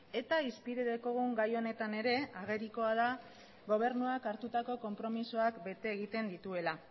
eta hizpide dekogun gai honetan ere agerikoa da gobernuak hartutako konpromezuak bete egiten dituela